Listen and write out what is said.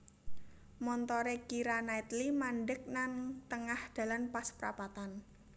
Montore Keira Knightley mandek nang tengah dalan pas prapatan